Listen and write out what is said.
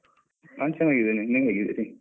ನಾನ್ ಚೆನ್ನಾಗಿದೀನಿ, ನೀವು ಹೇಗಿದ್ದೀರಿ?